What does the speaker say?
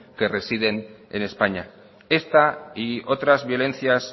que residen en españa esta y otras violencias